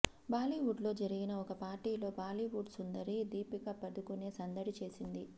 బాలీవుడ్ లో జరిగిన ఒక పార్టీలో బాలీవుడ్ సుందరి దీపికపదుకునే సందడి చేసింది